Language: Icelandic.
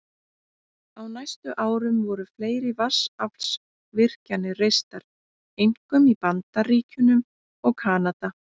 Á næstu árum voru fleiri vatnsaflsvirkjanir reistar, einkum í Bandaríkjunum og Kanada.